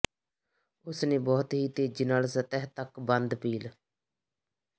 ਉਸ ਨੇ ਬਹੁਤ ਹੀ ਤੇਜ਼ੀ ਨਾਲ ਸਤਹ ਤੱਕ ਬੰਦ ਪੀਲ